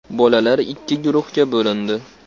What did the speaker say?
Bolalar ikki guruhga bo‘lindi.